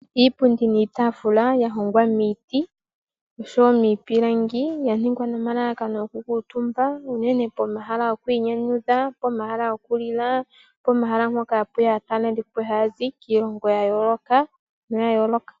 Iipundi niitafula yahongwa miiti osho woo miipilangi yaningwa nomalalakano gokukuutumba unene pohala gwokwiinyanyudha, pomahala gokulila nosho woo pomahala mpoka hapu yi aatalelipo haya zi kiilongo yayooloka.